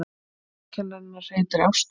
Umsjónarkennarinn heitir Ástrós.